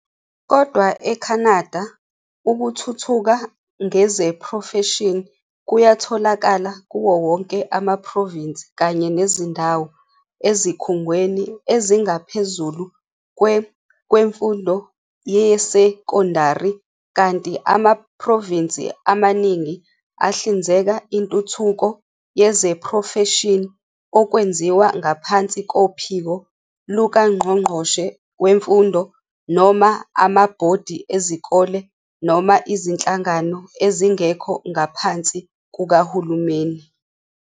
Kodwa e-Canada, ukuthuthuka ngezeprofeshini kuyatholakala kuwo wonke amaprovinsi kanye nezindawo, ezikhungweni ezingaphezulu kwe kwemfundo yesekondari kanti amaProvinsi amaningi ahlinzeka intuthuko yezeprofeshini okwenziwa ngaphansi kophiko lukangqongqoshe wemfundo noma amabhodi ezikole noma izinhlangano ezingekho ngaphansi kukahulumeni.